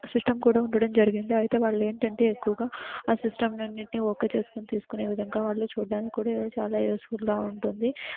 System కూడా ఉండడం జరిగింది. అయితే వాళ్ళు ఏంటంటే ఎక్కువగా సిస్టమ్ అన్నిటిని ఓకే చేసుకుని తీసుకునే విధంగా వాళ్లు చూడ్డానికి కూడా చాలా యూజ్ఫుల్ గా ఉంటుంది .